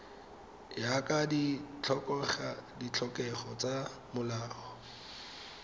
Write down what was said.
ya ka ditlhokego tsa molao